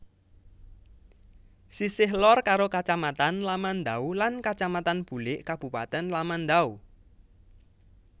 Sisih lor karo Kacamatan Lamandau lan Kacamatan Bulik Kabupatèn Lamandau